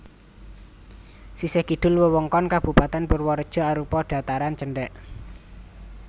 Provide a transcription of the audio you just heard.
Sisih kidul wewengkon Kabupatèn Purwareja arupa dhataran cendhèk